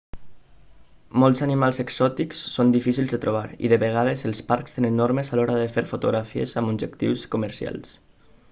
molts animals exòtics són difícils de trobar i de vegades els parcs tenen normes a l'hora de fer fotografies amb objectius comercials